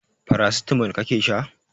Paracetamol kake sha?